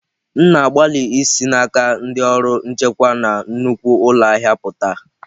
M na-agbalị isi n'aka ndị ọrụ nchekwa na nnukwu ụlọ ahịa pụta.